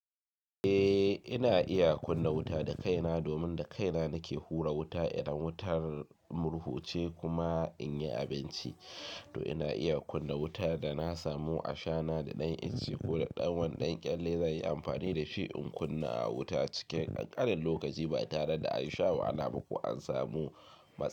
Eh, ina iya kunna wuta da kaina domin da kaina nake hura wuta idan wutar murhuce kuma in yi abinci. To ina iya kunna wutan da na samu a shana da ɗan ince ko da ɗan wani dankyalle zanyi amfani dashi in kunna wuta cikin ƙanƙanin lokaci ba tare da an sha wahala ba ko an samu matsala.